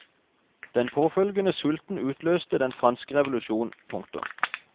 Den påfølgende sulten utløste den franske revolusjon. punktum